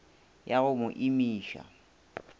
yo a go mo imiša